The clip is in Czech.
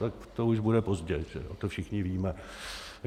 Tak to už bude pozdě, to všichni víme.